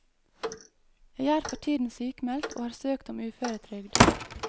Jeg er for tiden sykmeldt og har søkt om uføretrygd.